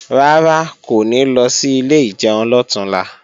Rárá, kò ní lọ sí ilé ìjẹun lọ̀túnla